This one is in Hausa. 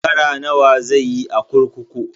Shekara nawa zai yi a kurkuku?